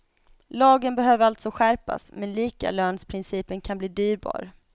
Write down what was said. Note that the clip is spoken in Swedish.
Lagen behöver alltså skärpas, men likalönsprincipen kan bli dyrbar.